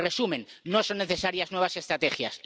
En resumen, no son necesarias nuevas estrategias.